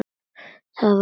Það var Lena.